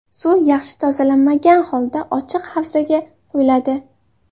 Suv yaxshi tozalanmagan holda ochiq havzaga quyiladi.